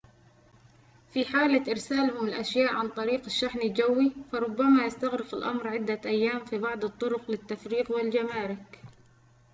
في حالة إرسالهم الأشياء عن طريق الشحن الجوي فربما يستغرق الأمر عدة أيام في بعض الطرق للتفريغ والجمارك